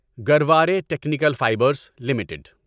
Garware Technical Fibres limited